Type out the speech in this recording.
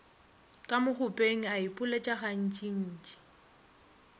ka mokgopeng a ipoeletša gantšintši